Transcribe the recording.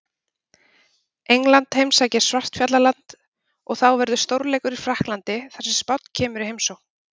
England heimsækir Svartfjallaland og þá verður stórleikur í Frakklandi þar sem Spánn kemur í heimsókn.